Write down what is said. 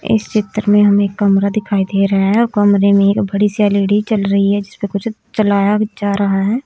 इस चित्र मे हमे एक कमरा दिखाई दे रहा है कमरे मे एक बड़ी सी एल_ई_डी चल रही जिसपे कुछ चलाया जा रहा है।